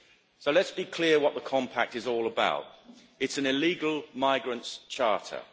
So let's be clear what the compact is all about it is an illegal migrants charter.